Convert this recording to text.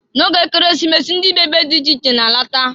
Na oge Ekeresimesi, ndị bi ebe dị iche iche na-alata.